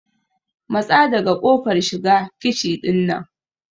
Matsa daga kofar shiga kici ɗin nan!